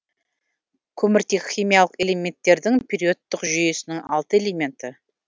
көміртек химиялық элементтердің периодтық жүйесінің алты элементі